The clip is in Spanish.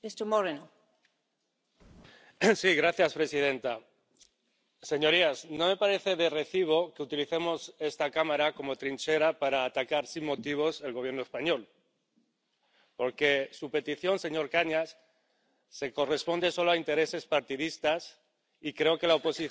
Señora presidenta, señorías, no me parece de recibo que utilicemos esta Cámara como trinchera para atacar sin motivos al Gobierno español, porque su petición, señor Cañas, corresponde solo a intereses partidistas y creo que la oposición se hace en el Congreso y no en esta Cámara.